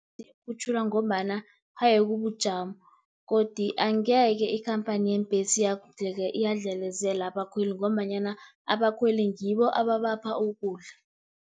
Kukhutjhulwa ngombana haye kubujamo, godi angeke ikhamphani yeembhesi yadlelezela abakhweli, ngombanyana abakhweli ngibo ababapha ukudla.